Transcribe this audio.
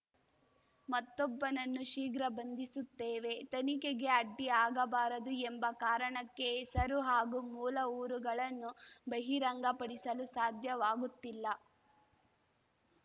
ಮತ್ತೊಬ್ಬನನ್ನು ಶೀಘ್ರ ಬಂಧಿಸುತ್ತೇವೆ ತನಿಖೆಗೆ ಅಡ್ಡಿಯಾಗಬಾರದು ಎಂಬ ಕಾರಣಕ್ಕೆ ಹೆಸರು ಹಾಗೂ ಮೂಲ ಊರುಗಳನ್ನು ಬಹಿರಂಗಪಡಿಸಲು ಸಾಧ್ಯವಾಗುತ್ತಿಲ್ಲ